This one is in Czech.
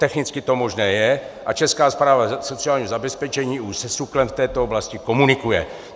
Technicky to možné je a Česká správa sociálního zabezpečení už se SÚKL v této oblasti komunikuje.